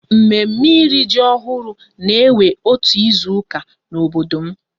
Mme mme ịrị ji ọhụrụ na-ewe otu izuka n'obodo m